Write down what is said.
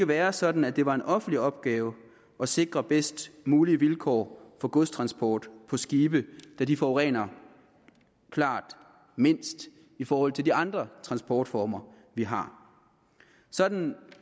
være sådan at det var en offentlig opgave at sikre bedst mulige vilkår for godstransport med skibe da de forurener klart mindst i forhold til de andre transportformer vi har sådan